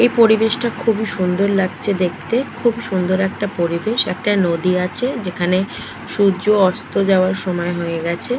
এই পরিবেশটা খুবই সুন্দর লাগছে দেখতে। খুবই সুন্দর একটা পরিবেশ একটা নদী আছে যেখানে সূর্য অস্ত যাওয়ার সময় হয়ে গেছে।